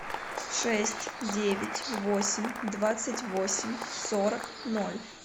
шесть девять восемь двадцать восемь сорок ноль